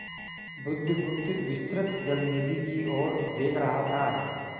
बुधगुप्त विस्तृत जलनिधि की ओर देख रहा था